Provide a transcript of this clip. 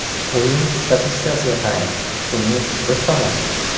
O‘yin statistikasiga qarang, ustunlik biz tomonda.